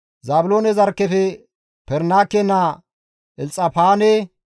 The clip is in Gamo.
Zaabiloone zarkkefe Perinaake naa Elxafaane,